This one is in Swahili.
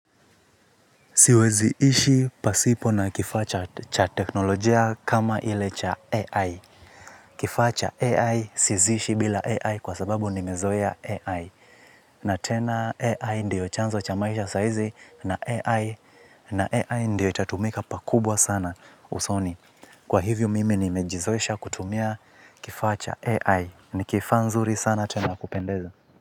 Siwezi ishi pasipo na kifaa cha cha teknolojia kama ile cha AI. Kifaa cha AI siezi ishi bila AI kwa sababu nimezoea AI. Na tena AI ndiyo chanzo cha maisha saizi na AI. Na AI ndiyo itatumika pakubwa sana usoni. Kwa hivyo mimi nimejizoesha kutumia kifaa cha AI. Ni kifaa nzuri sana tena ya kupendeza.